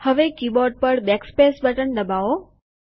હવે કીબોર્ડ પર backspace button દબાવો